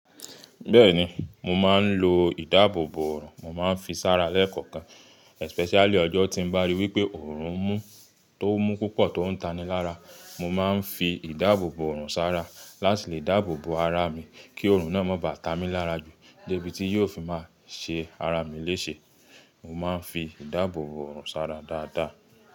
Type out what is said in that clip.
Bẹ́ẹ̀ni, mo máa ń lo ìdáàbòbò ọ̀rùn, mo máa ń fi sára lẹ́ẹ̀kọ̀kan. Especially ọjọ́ tí n bá rí wípé ọ̀rùn mú tó mú púpọ̀ tó ń taní lára, mo máa ń fi ìdáàbòbò ọ̀rùn sára láti lè dáàbòbò ara mi kí ọ̀rùn náà má bá ta mí lára jù débi tí yóò fi máa ṣe ara mi léṣe. Mo máa ń fi ìdáàbòbò ọ̀rùn sára dáadáa.